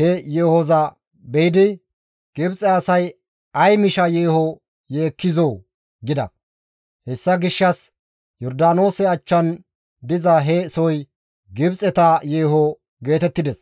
he yeehoza be7idi, «Gibxe asay ay misha yeeho yeekkizoo!» gida. Hessa gishshas Yordaanoose achchan diza he soy, Gibxeta yeeho geetettides.